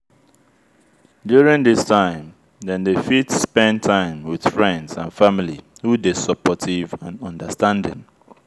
during this time dem dey fit spend time with friends and family who dey supportive and understanding